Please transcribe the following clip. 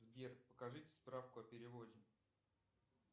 сбер покажите справку о переводе